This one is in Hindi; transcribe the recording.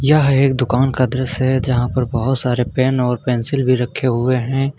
यह एक दुकान का दृश्य है यहां पर बहुत सारे पेन और पेंसिल भी रखे हुए हैं।